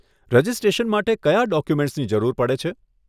Registration માટે કયાં ડોક્યુમેન્ટસની જરૂર પડે છે?